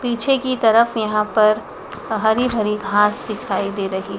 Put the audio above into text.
पीछे की तरफ यहां पर हरी भरी घास दिखाई दे रही--